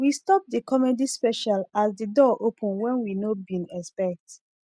we stop the comedy special as the door open when we no bin expect